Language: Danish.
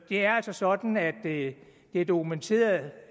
er altså sådan at det er dokumenteret